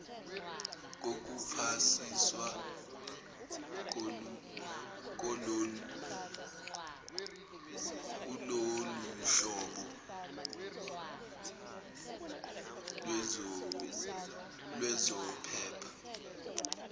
kokuphasiswa kuloluhlobo lwezophepha